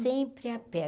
Sempre a pé.